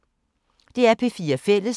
DR P4 Fælles